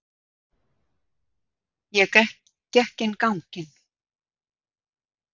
Ég gekk inn ganginn.